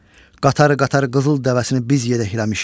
Qatar-qatar qızıl dəvəsini biz yedəkləmişik.